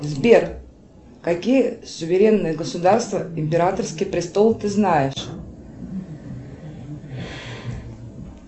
сбер какие суверенные государства императорский престол ты знаешь